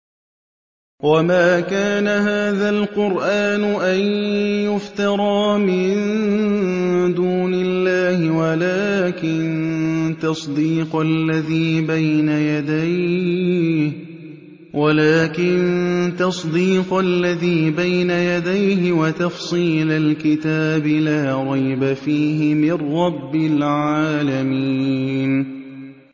وَمَا كَانَ هَٰذَا الْقُرْآنُ أَن يُفْتَرَىٰ مِن دُونِ اللَّهِ وَلَٰكِن تَصْدِيقَ الَّذِي بَيْنَ يَدَيْهِ وَتَفْصِيلَ الْكِتَابِ لَا رَيْبَ فِيهِ مِن رَّبِّ الْعَالَمِينَ